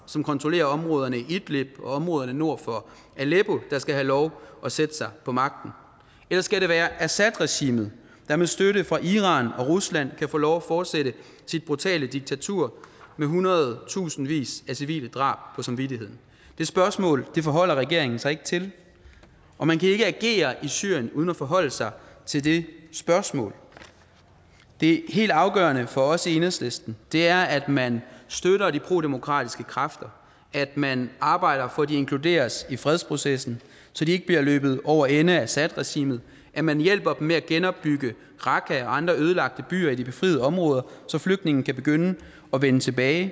som kontrollerer områderne og nord for aleppo der skal have lov at sætte sig på magten eller skal det være assadregimet der med støtte fra iran og rusland kan få lov at fortsætte sit brutale diktatur med hundredtusinder af civile drab på samvittigheden det spørgsmål forholder regeringen sig ikke til og man kan ikke agere i syrien uden at forholde sig til det spørgsmål det helt afgørende for os i enhedslisten er at man støtter de prodemokratiske kræfter at man arbejder for at de inkluderes i fredsprocessen så de ikke bliver løbet over ende af assadregimet at man hjælper dem med at genopbygge raqqa og andre ødelagte byer i de befriede områder så flygtningene kan begynde at vende tilbage